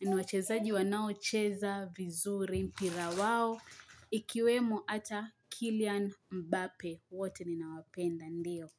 Ni wachezaji wanao cheza vizuri mpira wao. Ikiwemo ata Killian Mbape. Wote ninawapenda ndio.